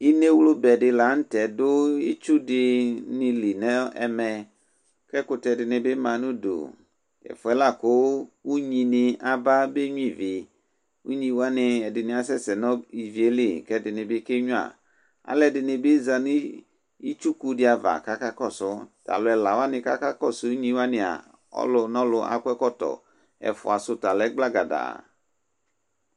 Inewlubɛ di la nʋ tɛ du itsu dini li nʋ ɛmɛ, kʋ ɛkʋtɛ dini bɩ ma nʋ ʋdʋ Ɛvɛ lakʋ unyi ni aba benyua ivi Unyi wani ɛdɩnɩ asɛsɛ nʋ ivi yɛ li, kʋ ɛdɩnɩ bɩ kenyua Alu ɛdɩnɩ bɩ za nʋ itsuku di ava, kʋ akakɔsʋ Tʋ alu ɛla wa kʋ akakɔsʋ unyi waniaa, ɔlʋnɔlʋ akɔ ɛkɔtɔ Ɛfʋasʋ ta lɛ gblagadaa